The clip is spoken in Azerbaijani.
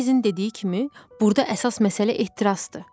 Markizin dediyi kimi, burda əsas məsələ ehtirasdır.